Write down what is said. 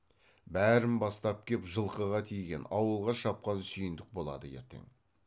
бәрін бастап кеп жылқыға тиген ауылға шапқан сүйіндік болады ертең